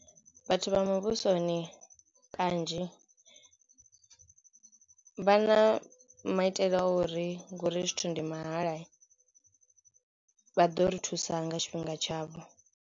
Vhathu vha muvhusoni kanzhi vha na maitele a uri ngori zwithu ndi mahalai vha ḓo ri thusa nga tshifhinga tshavho.